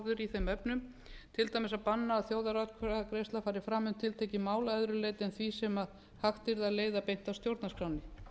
í þeim efnum til dæmis að banna að þjóðaratkvæðagreiðsla fari fram um tiltekið mál að öðru leyti en því sem hægt yrði að leiða beint af stjórnarskránni